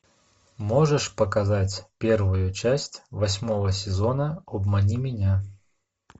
можешь показать первую часть восьмого сезона обмани меня